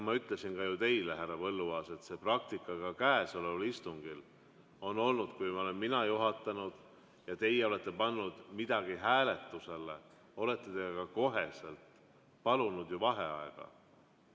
Ma ütlesin ka teile, härra Põlluaas, et selline praktika on ka käesoleval istungil olnud: kui mina olen juhatanud ja teie olete pannud midagi hääletusele, siis olete te ka kohe palunud vaheaega.